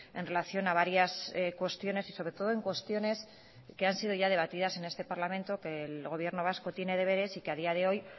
en relación a varias cuestiones y sobre todo en cuestiones que han sido ya debatidas en este parlamento que el gobierno vasco tiene deberes y que a día de hoy